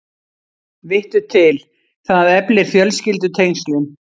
Vittu til, það eflir fjölskyldutengslin.